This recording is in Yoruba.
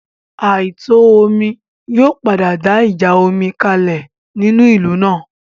Àìtò omi yóò padà dá ìjà omi kalẹ̀ nínú ìlú náà